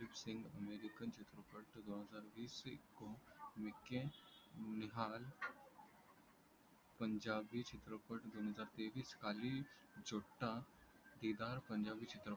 निहाल पंजाबी चित्रपट दोन हजार तेवीस साली जुत्ता केदार पंजाबी चित्रपट